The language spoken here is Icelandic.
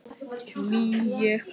Ný ég.